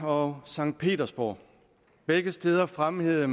og sankt petersborg begge steder fremhævede